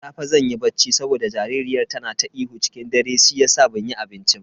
Da safe zan yi bacci saboda jaririyar tana ta ihu ciki dare shiyasa banyi banci ba.